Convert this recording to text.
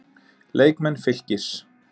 Leikmenn Fylkis